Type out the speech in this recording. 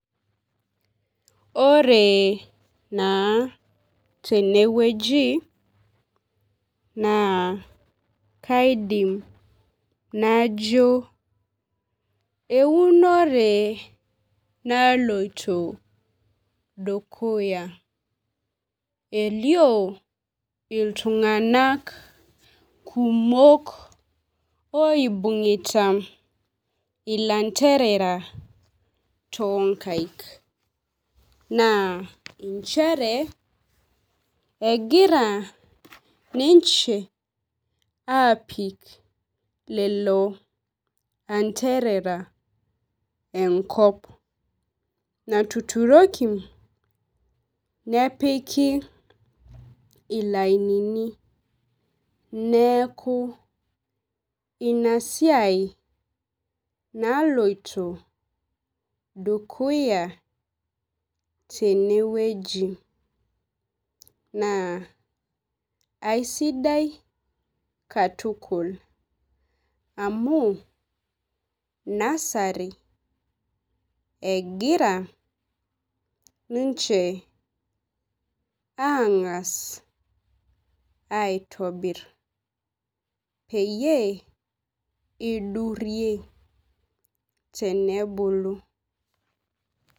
Ore naa teneweji naa kaidim najo eunore naloito dukuya. Elio iltung'anak kumok oinung'ita ilantrera too nkaik .Naa nchere egira niche apik ilanterera enkop natururiki ilainini neeku ina siai naloito dukuya teneweji naa aisidai katukul amu nursery egira ninche ang'as aitobir peyie idurie tenebulu.